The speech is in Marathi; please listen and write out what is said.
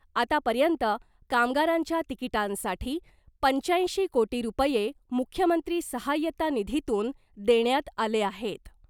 आतापर्यंत कामगारांच्या तिकिटांसाठी पंच्याऐंशी कोटी रुपये मुख्यमंत्री सहाय्यता निधीतून देण्यात आले आहेत .